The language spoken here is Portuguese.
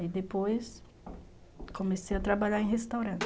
Aí depois comecei a trabalhar em restaurante.